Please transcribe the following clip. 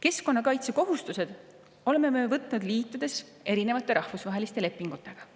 Keskkonnakaitsekohustused oleme me võtnud liitudes erinevate rahvusvaheliste lepingutega,